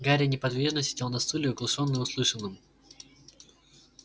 гарри неподвижно сидел на стуле оглушённый услышанным